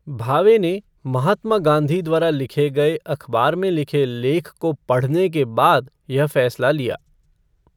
भावे ने महात्मा गांधी द्वारा लिखे गए अखबार में लिखे लेख को पढ़ने के बाद यह फैसला लिया।